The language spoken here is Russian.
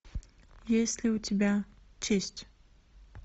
есть ли у тебя честь